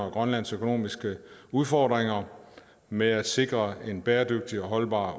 og grønlands økonomiske udfordringer med at sikre en bæredygtig og holdbar